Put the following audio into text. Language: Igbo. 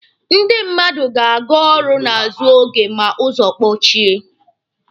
Ndị mmadu na-aga ọrụ n'azụ oge ma ụzọ kpochie.